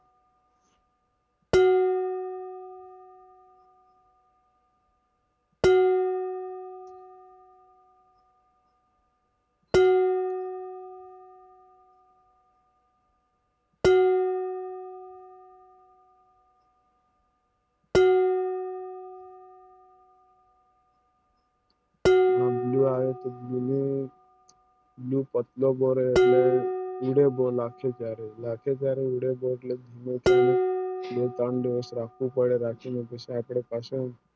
હા Blue આવે color ને Blue પાતળો ગરે એટલે ઈડન બો લાગસી સારે ઈડન બો લાગશે સારે બે તા ના બે ટીન દિવસ રાખું પડે બીજા રાખીવ પાસે